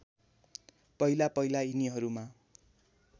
पहिला पहिला यिनीहरूमा